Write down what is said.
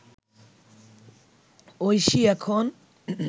ঐশী এখন